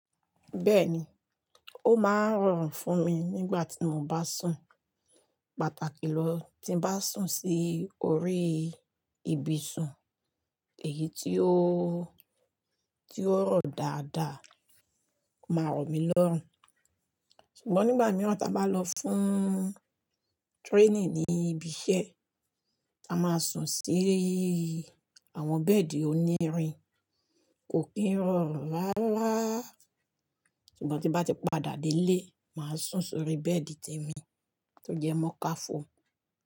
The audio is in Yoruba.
Bẹ́ẹ̀ni, ó máa ń rọrùn fún mi nígbà tí mo bá sùn, pàtàkì ló ti ń bá sùn sí orí ibisun ìyí tí ó rọ̀ dáadáa ó má rọ̀ mí lọ́rùn ṣùgbọ́n nígbà mìíràn tí a bá lọ fún training ní ibi iṣẹ́, a máa sùn sí àwọn bẹ́ẹ̀dì onírin, kò kí ń rọrùn rárá. Ṣùgbọ́n tí bá ti padà dé ilé, màá sùn sórí bẹ́ẹ̀dì tèmi tó jẹ́ moka foam.